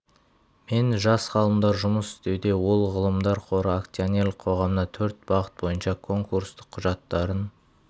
мен жас ғалымдар жұмыс істеуде ол ғылымдар қоры акционерлік қоғамына төрт бағыт бойынша конкурстық құжаттарын